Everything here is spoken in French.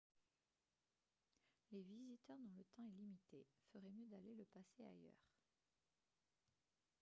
les visiteurs dont le temps est limité feraient mieux d'aller le passer ailleurs